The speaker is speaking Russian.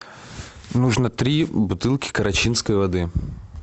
нужно три бутылки карачинской воды